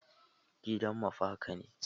Gida mafaka ne.